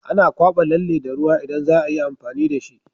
Ana kwaba lalle da ruwa idan zaayi amfani dashi